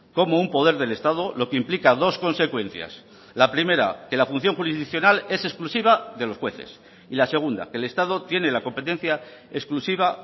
como un poder del estado lo que implica dos consecuencias la primera que la función jurisdiccional es exclusiva de los jueces y la segunda que el estado tiene la competencia exclusiva